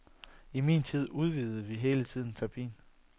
I min tid udvidede vi hele tiden terapien.